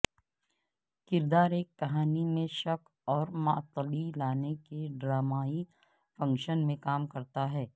کردار ایک کہانی میں شک اور معطلی لانے کے ڈرامائی فنکشن میں کام کرتا ہے